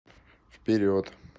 вперед